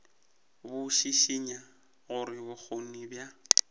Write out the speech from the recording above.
bo šišinya gore bokgoni bja